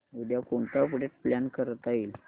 उद्या कोणतं update plan करता येईल